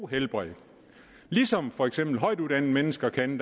helbred ligesom for eksempel højtuddannede mennesker kan